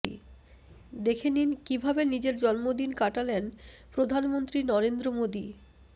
দেখে নিন কীভাবে নিজের জন্মদিন কাটালেন প্রধানমন্ত্রী নরেন্দ্র মোদি